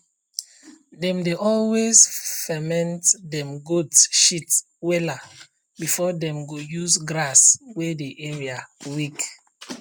dem dey always ferment dem goat shit wella before dem go use grass wey the area weak